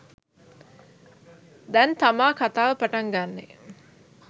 දැන් තමා කතාව පටන් ගන්නෙ.